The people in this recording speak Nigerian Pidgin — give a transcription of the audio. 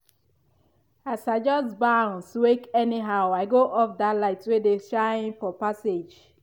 as i just bounce wake anyhow i go off that light wey dey shine for passage